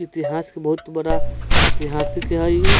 इतिहास के बहुत बड़ा इतिहास के हई ई।